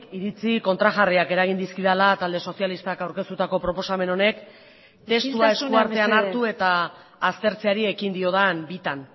iritzi kontrajarriak eragin dizkidala talde sozialistak aurkeztutako proposamen honek isiltasuna mesedez testua eskuartean hartu eta aztertzeari ekin diodan bitan